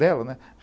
Dela, né?